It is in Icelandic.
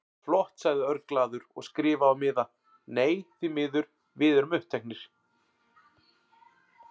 Flott sagði Örn glaður og skrifaði á miða: Nei, því miður, við erum uppteknir